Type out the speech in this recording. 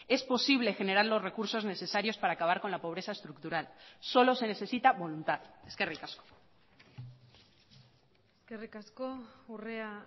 es posible generar los recursos necesarios para acabar con la pobreza estructural solo se necesita voluntad eskerrik asko eskerrik asko urrea